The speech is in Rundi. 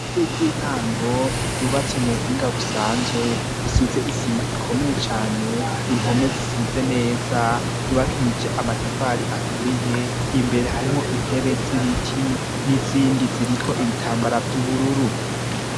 Ire ry'intango yubatse mu buhinga busanzwe risize isima ikomeye cane inpome zisize neza yubakije amatafari aturiye imbere harimo intebe z'ibiti n'izindi ziriko ibitambara vy'ubururu.